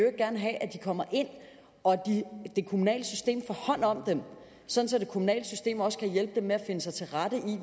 kommer ind og at det kommunale system får hånd om dem så det kommunale system også kan hjælpe dem med at finde sig til rette